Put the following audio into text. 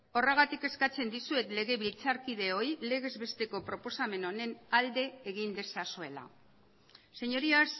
horregatik eskatzen dizuet legebiltzarkideoi legez besteko proposamen honen alde egin dezazuela señorías